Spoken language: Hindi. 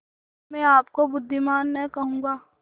तो मैं आपको बुद्विमान न कहूँगा